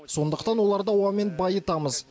сондықтан оларды ауамен байытамыз